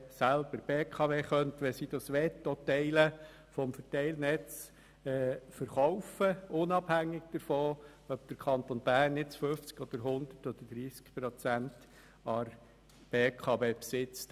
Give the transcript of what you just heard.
Wenn die BKW möchte, könnte sie auch Teile des Verteilnetzes verkaufen, unabhängig davon, ob der Kanton Bern nun 100, 50 oder 30 Prozent an der BKW besitzt.